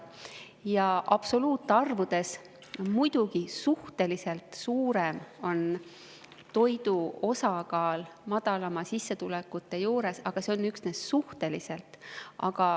Jaa, absoluutarvudes muidugi toidu osakaal on suhteliselt suurem madalamate sissetulekute juures, aga see on üksnes suhteliselt.